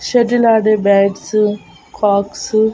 shuttle ఆడే bats cocks --